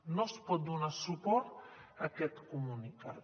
no es pot donar suport a aquest comunicat